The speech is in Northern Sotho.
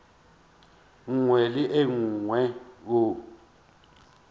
nngwe le ye nngwe o